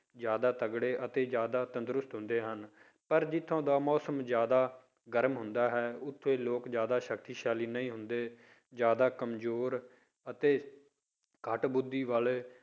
ਜ਼ਿਆਦਾ ਤਕੜੇ ਅਤੇ ਜ਼ਿਆਦਾ ਤੰਦਰੁਸ਼ਤ ਹੁੰਦੇ ਹਨ, ਪਰ ਜਿੱਥੋਂ ਦਾ ਮੌਸਮ ਜ਼ਿਆਦਾ ਗਰਮ ਹੁੰਦਾ ਹੈ ਉੱਥੇ ਲੋਕ ਜ਼ਿਆਦਾ ਸਕਤੀਸ਼ਾਲੀ ਨਹੀਂ ਹੁੰਦੇ, ਜ਼ਿਆਦਾ ਕੰਮਜ਼ੋਰ ਅਤੇ ਘੱਟ ਬੁੱਧੀ ਵਾਲੇ